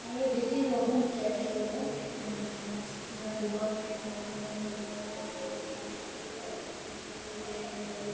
ये देखिये रोहन चाय स्टोर है यहाँ दोकान में सब समान मिलता है और --